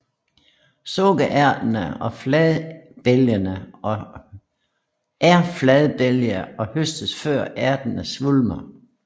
Sukkerærterne er fladbælgede og høstes før ærterne svulmer